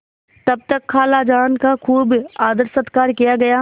तब तक खालाजान का खूब आदरसत्कार किया गया